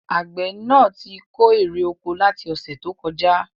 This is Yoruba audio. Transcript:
Àgbẹ̀ náà tí kó èrè oko láti ọ̀sẹ̀ tó kọjá